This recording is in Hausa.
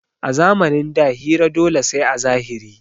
A zamanin da hira dole sai a zahiri